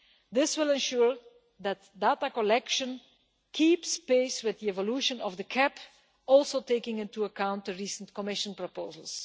This will ensure that data collection keeps pace with the evolution of the CAP, taking into account, too, the recent Commission proposals.